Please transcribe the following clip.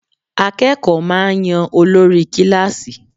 Akékòó máà ń yan olórí kílàsì.